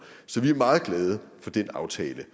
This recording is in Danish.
så vi er meget glade for den aftale